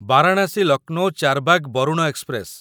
Varanasi Lucknow Charbagh Varuna express